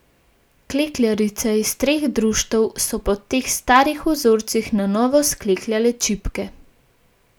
Klekljarice iz treh društev so po teh starih vzorcih na novo sklekljale čipke.